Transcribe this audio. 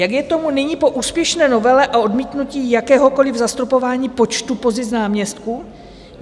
Jak je tomu nyní po úspěšné novele a odmítnutí jakéhokoliv zastropování počtu pozic náměstků?